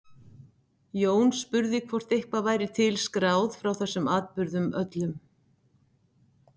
Jón spurði hvort eitthvað væri til skráð frá þessum atburðum öllum.